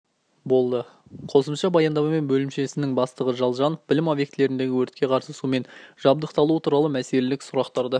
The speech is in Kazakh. болды қосымша баяндамамен бөлімшесінің бастығы жалжанов білім объектілеріндегі өртке қарсы сумен жабдықталуы туралы мәселелік сұрақтарды